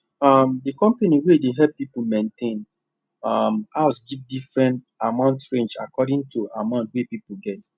um the company wey dey help people maintain um house give different amount range according to the amount wey person get